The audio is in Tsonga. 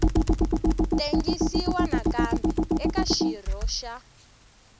tengisiwa nakambe eka xirho xa